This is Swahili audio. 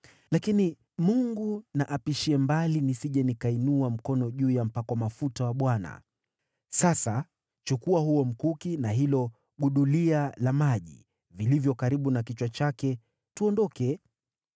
Lakini Mungu na apishie mbali nisije nikainua mkono juu ya mpakwa mafuta wa Bwana . Sasa chukua huo mkuki na hilo gudulia la maji vilivyo karibu na kichwa chake, tuondoke.”